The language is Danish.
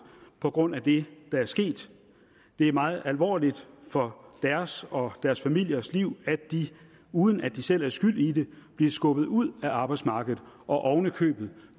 på grund af det der er sket det er meget alvorligt for deres og deres familiers liv at de uden at de selv er skyld i det bliver skubbet ud af arbejdsmarkedet og ovenikøbet